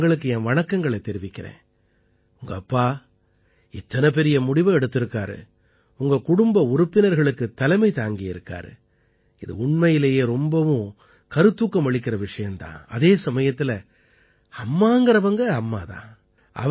நான் அவங்களுக்கு என் வணக்கங்களைத் தெரிவிக்கறேன் உங்க அப்பா இத்தனை பெரிய முடிவை எடுத்திருக்காரு உங்க குடும்ப உறுப்பினர்களுக்குத் தலைமை தாங்கியிருக்காரு இது உண்மையிலேயே ரொம்பவே கருத்தூக்கம் அளிக்கற விஷயம் தான் அதே சமயத்தில அம்மாங்கறவங்க அம்மா தான்